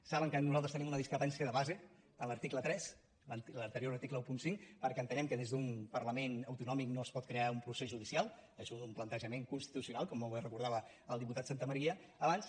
saben que nosaltres tenim una discrepància de base en l’article tres l’anterior article quinze perquè entenem que des d’un parlament autonòmic no es pot crear un procés judicial és un plantejament constitucional com avui recordava el diputat santamaría abans